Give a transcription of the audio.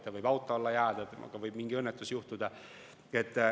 Ta võib auto alla jääda, temaga võib mingi õnnetus juhtuda.